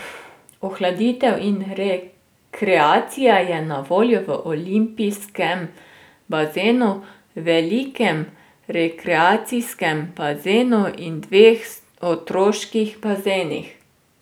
Ohladitev in rekreacija je na voljo v olimpijskem bazenu, velikem rekreacijskem bazenu in dveh otroških bazenih.